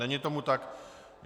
Není tomu tak.